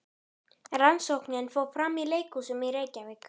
Rannsóknin fór fram í leikskólum í Reykjavík.